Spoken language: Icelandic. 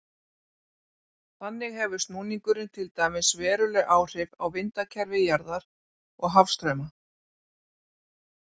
Þannig hefur snúningurinn til dæmis veruleg áhrif á vindakerfi jarðar og hafstrauma.